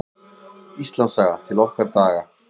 Íslandssaga: til okkar daga.